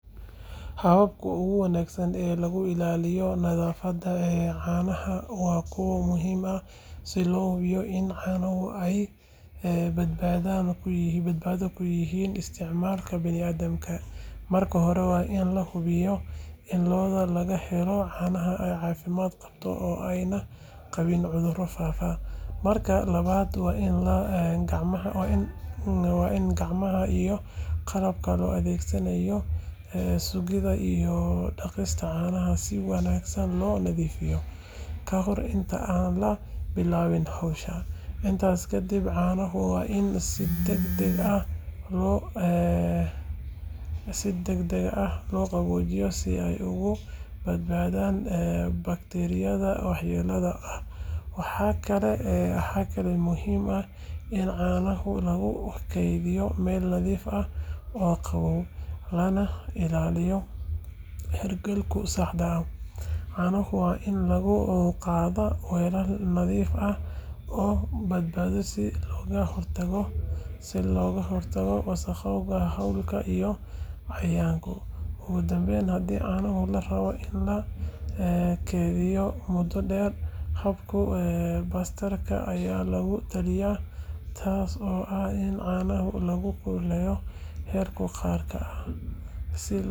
Hababka ugu wanaagsan ee lagu ilaaliyo nadaafadda caanaha waa kuwo muhiim ah si loo hubiyo in caanuhu ay badbaado u yihiin isticmaalka bini’aadamka. Marka hore, waa in la hubiyaa in lo’da laga helo caanaha ay caafimaad qabto oo aanay qabin cudurro faafa. Marka labaad, waa in gacmaha iyo qalabka loo adeegsado sugidda iyo qaadista caanaha si wanaagsan loo nadiifiyaa kahor inta aan la bilaabin hawsha. Intaas kadib, caanaha waa in si degdeg ah loo qaboojiyaa si ay uga badbaadaan bakteeriyada waxyeellada leh. Waxaa kaloo muhiim ah in caanaha lagu kaydiyo meel nadiif ah oo qabow, lana ilaaliyo heerkulka saxda ah. Caanaha waa in lagu qaadaa weelal nadiif ah oo daboolan si looga hortago wasakhowga hawada iyo cayayaanka. Ugu dambayn, haddii caanaha la rabo in la keydiyo muddo dheer, habka pasteerka ayaa lagu taliya, taasoo ah in caanaha lagu kululeeyo heerkul gaar ah si loo dilo bakteeriyada waxyeellada leh. Hababkan oo la raaco waxay suurtagal ka dhigayaan in caanuhu ay ahaadaan kuwo nadiif ah, caafimaad qaba, una habboon in la cabo ama wax lagu kariyo.